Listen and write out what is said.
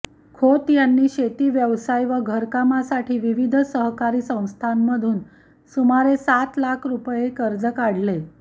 खोत यांनी शेती व्यवसाय व घरकामासाठी विविध सहकारी संस्थांमधून सुमारे सात लाख रुपये कर्ज काढले